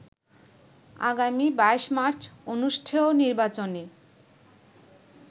আগামী ২২ মার্চ অনুষ্ঠেয় নির্বাচনে